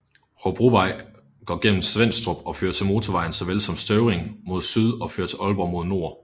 Hobrovej går gennem Svenstrup og fører til motorvejen såvel som Støvring mod syd og fører til Aalborg mod nord